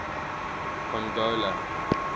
pongola